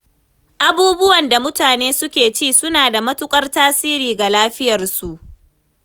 Abubuwan da mutane suke ci suna da matuƙar tasiri ga lafiyarsu.